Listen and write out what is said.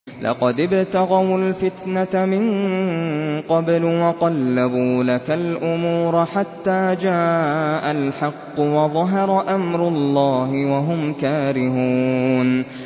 لَقَدِ ابْتَغَوُا الْفِتْنَةَ مِن قَبْلُ وَقَلَّبُوا لَكَ الْأُمُورَ حَتَّىٰ جَاءَ الْحَقُّ وَظَهَرَ أَمْرُ اللَّهِ وَهُمْ كَارِهُونَ